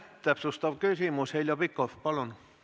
Täpsustav küsimus, Heljo Pikhof, palun!